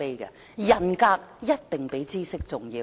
人格一定比知識重要。